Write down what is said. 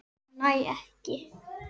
Ég næ ekki.